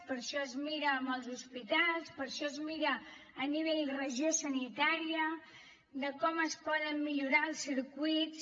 per això es miren els hospitals per això es mira a nivell regió sanitària com es poden millorar els circuits